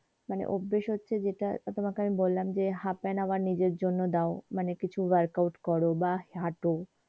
মানে অভ্যেস হচ্ছে যেইটা তোমাকে আমি বললাম যে half an hour নিজের জন্যে দাও মানে কিছু workout করো বা হাটো।